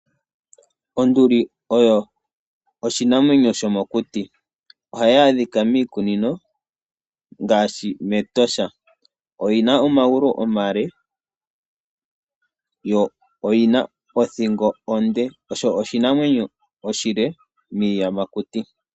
Onduli oyo oshinanwenyo shomokuti nohayi adhika miikunino ngaashi Etosha. Oyina omagulu omale yo oyina othingo onde. Osho oshinanwenyo oshile miiyamakuti.